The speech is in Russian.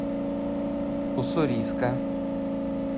уссурийска